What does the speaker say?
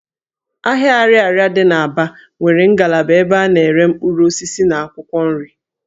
Ahịa Ariaria dị n' Aba nwere ngalaba ebe a na-ere mkpụrụ osisi na akwụkwọ nri